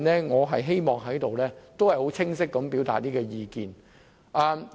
我希望就此清晰表達我的意見。